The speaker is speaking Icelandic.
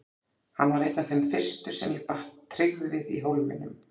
Hann varð einn af þeim fyrstu sem ég batt tryggð við í Hólminum.